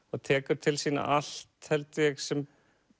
og tekur til sín allt held ég sem